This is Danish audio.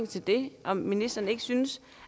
til det om ministeren ikke synes